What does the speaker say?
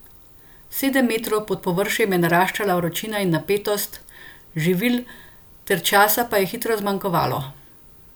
Sedemsto metrov pod površjem je naraščala vročina in napetost, živil ter časa pa je hitro zmanjkovalo.